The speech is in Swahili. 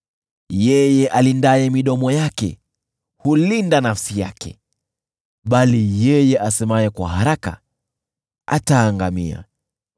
Yeye alindaye midomo yake hulinda nafsi yake, bali yeye asemaye kwa haraka ataangamia.